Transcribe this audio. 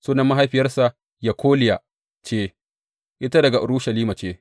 Sunan mahaifiyarsa Yekoliya ce; ita daga Urushalima ce.